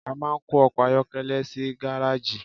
a ma n kó ọkọ ayọkẹlẹ sí gareji.